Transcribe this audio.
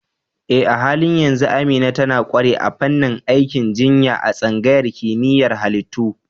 Eh, a halin yanzu Amina tana ƙware a fannin aikin jinya a tsangayar kimiyyar halittu.